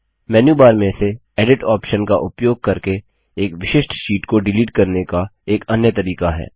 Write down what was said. menu bar से edit option का उपयोग करके एक विशिष्ट शीट को डिलीट करने का एक अन्य तरीका है